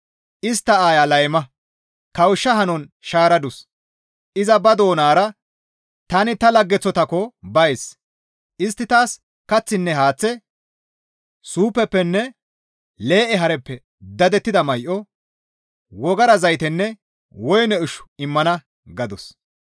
Istta aaya layma; kawushsha hanon shaaradus. Iza ba doonara, ‹Tani ta laggeththotaakko bays; istti taas kaththinne haaththe, suufeppenne lee7e haareppe dadettida may7o, wogara zaytenne woyne ushshu immana› gadus.